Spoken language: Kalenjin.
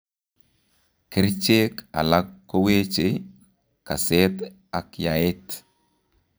Kercheek alak koweche kaseet ak yaeet